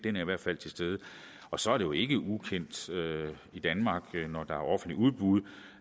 i hvert fald til stede og så er det jo ikke ukendt i danmark når der er offentlige udbud